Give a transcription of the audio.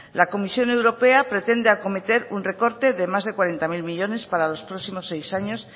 la comisión europea pretende acometer un recorte de más de cuarenta mil millónes para los próximos seis años